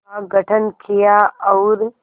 का गठन किया और